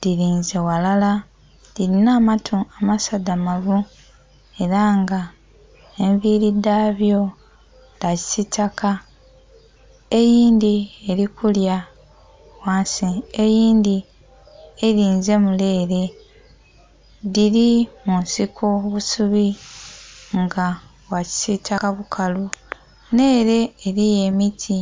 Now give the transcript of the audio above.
dhilinze ghalala dhilina amatu amasadhamavu. Ela nga envili dha byo dha kisiitaka. Eyindhi eli kulya ghansi, eyindhi elinze mule ele. Dhili mu nsiko, obusubi nga bwa kisiitaka bukalu. Nh'ele eliyo emiti.